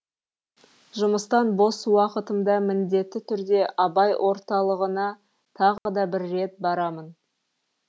жұмыстан бос уақытымда міндетті түрде абай орталығына тағы да бір рет барамын